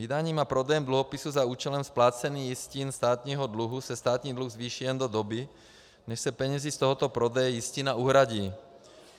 Vydáním a prodejem dluhopisů za účelem splácení jistin státního dluhu se státní dluh zvýší jen do doby, než se penězi z tohoto prodeje jistin uhradí.